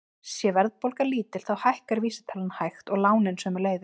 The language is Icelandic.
Sé verðbólga lítil þá hækkar vísitalan hægt og lánin sömuleiðis.